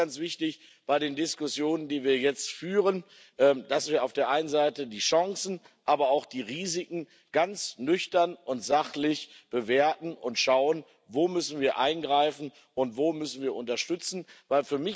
Mir ist ganz wichtig bei den Diskussionen, die wir jetzt führen, dass wir auf der einen Seite die Chancen, aber auch die Risiken ganz nüchtern und sachlich bewerten und schauen, wo wir eingreifen müssen und wo wir unterstützen müssen.